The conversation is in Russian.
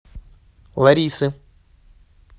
ларисы